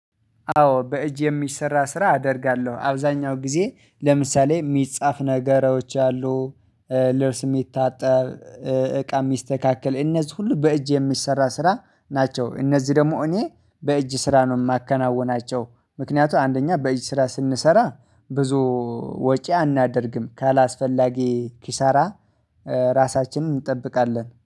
አዎ በእጅ የሚሰራ ስራ አደርጋለሁ አብዛኛው ጊዜ ለምሳሌ የሚጻፍ ነገሮች አሉ። የሚታጠብ እቃ የሚስተካከል እነዚህ ሁሉ በእጅ የሚሰራ ስራ ናቸው። እነዚህ ደግሞ እኔ በእጅ ስራ ነው የማከናውናቸው። ምክንያቱ አንደኛ በእጅ ስራ ስንሰራ ብዙ ወጪ አናደርግም ካላስፈላጊ ኪሳራ ራሳችንን እንጠብቃለን